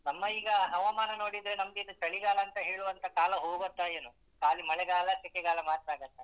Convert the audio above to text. ನಮ್ಮಈಗ ಹವಾಮಾನ ನೋಡಿದ್ರೆ ನಮ್ಗೆ ಇದು ಚಳಿಗಾಲ ಅಂತ ಹೇಳುವಂತ ಕಾಲ ಹೋಗೋತ್ತೋ ಏನೋ ಕಾಲಿ ಮಳೆಗಾಲ ಸೆಕೆಗಾಲ ಮಾತ್ರ ಆಗುತ್ತೆ.